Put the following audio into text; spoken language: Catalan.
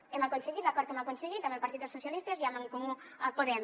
hem aconseguit l’acord que hem aconseguit amb el partit dels socialistes i amb en comú podem